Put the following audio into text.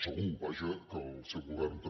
segur vaja que al seu govern també